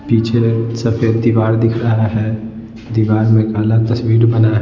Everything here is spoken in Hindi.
पीछे सफेद दीवार दिख रहा है दीवार में काला तस्वीर बना है।